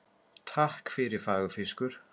Takk fyrir fagur fiskur.